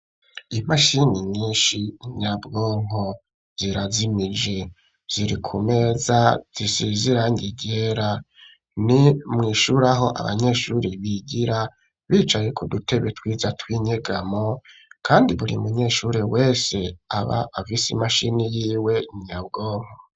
Imashini nyinshi nyabwonko zirazimije. Ziri ku meza zisize irangi ryera. Ni mw'ishure aho abanyeshure bigira bicaye ku dutebe twiza tw'inyegamo kandi buri munyeshure wese aba afise imashini yiwe nyabwonko.